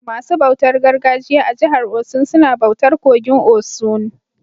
Masu bautar gargajiya a jihar Osun suna bautar kogin osun.